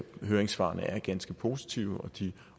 høringssvarene er ganske positive og de